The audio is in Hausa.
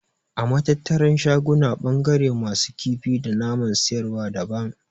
A Matattarar shaguna ɓangaren masu kifi da naman siyarwa daban.